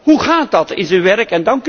Hoe gaat dat in zijn werk?